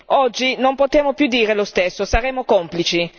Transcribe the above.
Oggi non possiamo più dire lo stesso, saremmo complici.